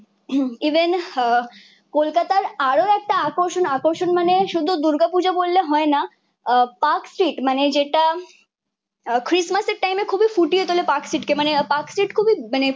Even আহ কলকাতার আরও একটা আকর্ষণ আকর্ষণ মানে শুধু দুর্গাপূজা বললে হয় না, আহ পার্কস্ট্রিট মানে যেটা ক্রিসমাসের টাইমে খুবই ফুটিয়ে তোলে পার্কস্ট্রিটকে। মানে পার্কস্ট্রিট খুবই মানে